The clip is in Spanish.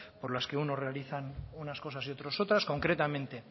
por las que unos realizan unas cosas y otros otras concretamente